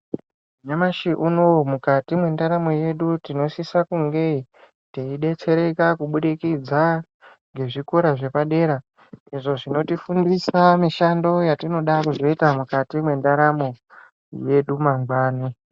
Nyamashi unouyu mukati mendaramo yedu inosisa kunge teibetsereka kubudikidza ngezvikora zvepadera. Izvo zvinotifundisa mishando yatinoda kuzoita mukati mendaramo yedu mangwani.